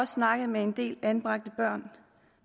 snakket med en del anbragte børn